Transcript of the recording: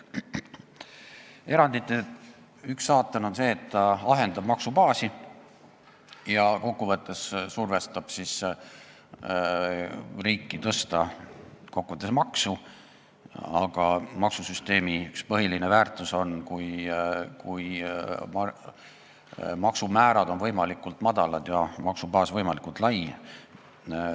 Erandite puhul on üks saatan see, et erand ahendab maksubaasi ja survestab riiki tõstma maksu, aga maksusüsteemi üks põhilisi väärtusi on see, et maksumäärad on võimalikult madalad ja maksubaas võimalikult lai.